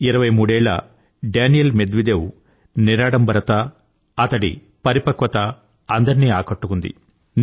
ఇరవై మూడేళ్ళ Daniil Medvedev నిరాడంబరత అతడి పరిపక్వత అందరినీ ఆకట్టుకుంది